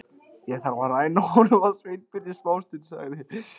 Ég þarf að ræna honum Sveinbirni smástund- sagði